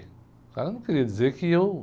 O cara não queria dizer que eu, né?